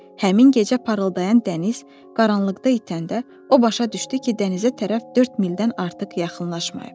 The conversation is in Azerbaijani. Həmin gecə parıldayan dəniz qaranlıqda itəndə o başa düşdü ki, dənizə tərəf dörd mildən artıq yaxınlaşmayıb.